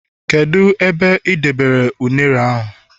kedu ebe ị dobere ụnere ahu